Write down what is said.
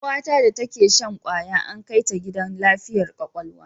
Kawata da take shan kwaya an kai ta gidan lafiyar kwakwalwa